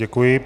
Děkuji.